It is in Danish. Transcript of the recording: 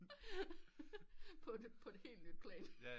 På et helt nyt plan